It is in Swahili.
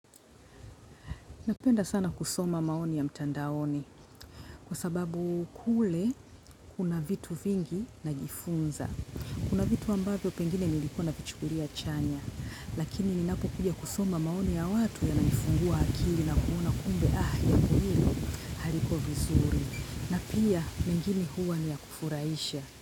Napenda sana kusoma maoni ya mtandaoni kwa sababu kule kuna vitu vingi najifunza. Kuna vitu ambavyo pengine nilikuwa na vichugulia chanya lakini ninapo kuja kusoma maoni ya watu ya nanifungua akili na kuuna kumbe ahi ya kuro vizuri na pia mingini huwa ni ya kufuraisha.